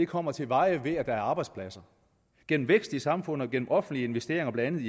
kommer til veje ved at der er arbejdspladser gennem vækst i samfundet og gennem offentlige investeringer blandt